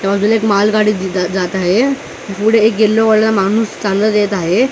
त्या बाजूला एक मालगाडी जात आहे पुढे एक माणूस चालत येत आहे.